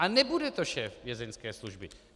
A nebude to šéf Vězeňské služby.